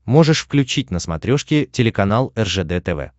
можешь включить на смотрешке телеканал ржд тв